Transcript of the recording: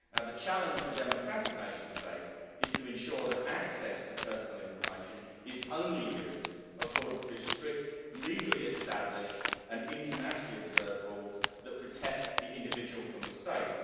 Now the challenge for democratic nation states is to ensure that access to personal information is only used according to strict legally established and internationally observed rules which protect the individual from the state.